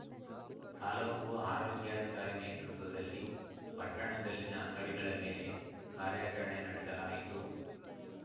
ತಾಲೂಕು ಆರೋಗ್ಯಾಧಿಕಾರಿ ನೇತೃತ್ವದಲ್ಲಿ ಪಟ್ಟಣದಲ್ಲಿನ ಅಂಗಡಿಗಳ ಮೇಲೆ ಕಾರ್ಯಾಚರಣೆ ನಡೆಸಲಾಯಿತು